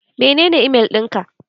Menene email ɗin ka?